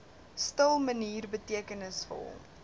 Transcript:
stil manier betekenisvol